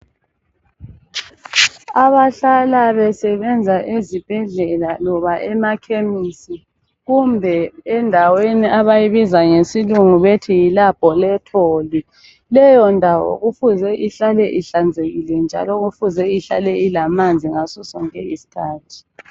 Abahlala besebenza ezibhedlela loba emakhemisi kumbe endaweni abayibiza ngesilungu bethi yilaboratory. Leyondawo kufuze ihlale ihlanzekile njalo kufuze ihlale ilamanzi ngasosonke iskhathi.